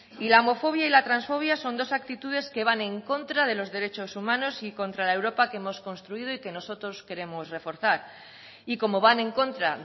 y la homofobia y la transfobia son dos actitudes que van en contra de los derechos humanos y contra la europa que hemos construido y que nosotros queremos reforzar y como van en contra